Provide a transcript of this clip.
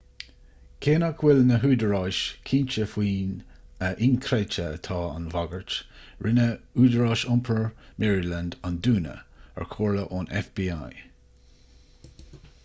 cé nach bhfuil na húdaráis cinnte faoina inchreidte atá an bhagairt rinne údarás iompair maryland an dúnadh ar chomhairle ón fbi